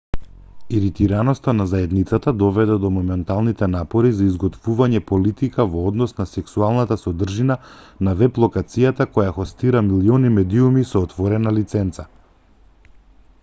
иритираноста на заедницата доведе до моменталните напори за изготвување политика во однос на сексуалната содржина на веб-локацијата која хостира милиони медиуми со отворена лиценца